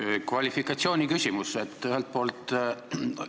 Mul on kvalifitseerimise kohta küsimus.